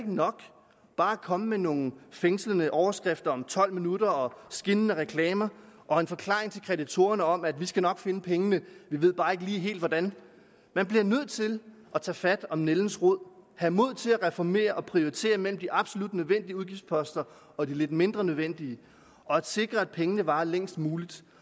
nok bare at komme med nogle fængslende overskrifter om tolv minutter og skinnende reklamer og en forklaring til kreditorerne om at vi skal nok finde pengene vi ved bare ikke lige helt hvordan man bliver nødt til at tage fat om nældens rod have mod til at reformere og prioritere mellem de absolut nødvendige udgiftsposter og de lidt mindre nødvendige og sikre at pengene varer længst muligt